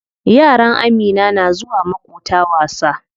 Yaran Amina na zuwa maƙota wasa.